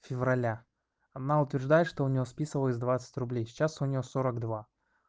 февраля она утверждает что у неё списывалось двадцать рублей сейчас у неё сорок два